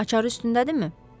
Açar üstündədirmi?